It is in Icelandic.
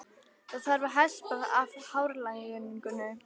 Það þarf að hespa af hárlagningunni.